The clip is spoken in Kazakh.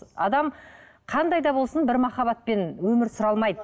адам қандай да болсын бір махаббатпен өмір сүре алмайды